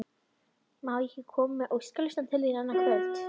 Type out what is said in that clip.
Má ég ekki koma með óskalista til þín annað kvöld?